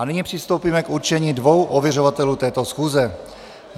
A nyní přistoupíme k určení dvou ověřovatelů této schůze.